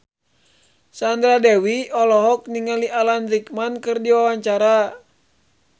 Sandra Dewi olohok ningali Alan Rickman keur diwawancara